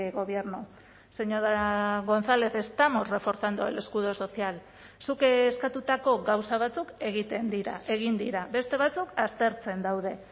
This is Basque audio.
gobierno señora gonzález estamos reforzando el escudo social zuk eskatutako gauza batzuk egiten dira egin dira beste batzuk aztertzen daude